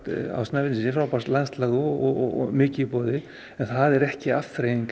á Snæfellsnesi frábært landslag og mikið í boði en það er ekki afþreying